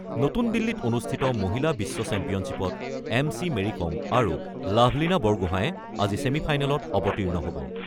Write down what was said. নতুন দিল্লীত অনুষ্ঠিত মহিলা বিশ্ব চেম্পিয়নশ্বিপত এম চি মেৰীকম আৰু লাভলীনা বৰগোঁহাই আজি ছেমি ফাইনেলত অৱতীৰ্ণ হ'ব।